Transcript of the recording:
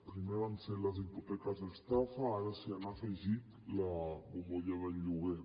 primer van ser les hipoteques estafa ara s’hi ha afegit la bombolla del lloguer